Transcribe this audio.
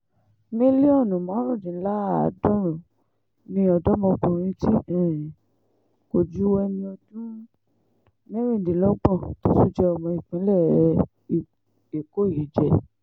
mílíọ̀nù márùndínláàádọ́rùn-ún ni ọ̀dọ́mọkùnrin tí um kò ju ẹni ọdún mẹ́rìndínlọ́gbọ̀n tó tún jẹ́ ọmọ ìpínlẹ̀ um èkó yìí jẹ́